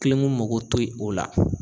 mako ti o la.